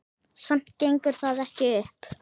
Samt gengur það ekki upp.